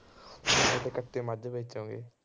ਕੱਟੇ ਮੱਝ ਵੇਚੋਂਗੇ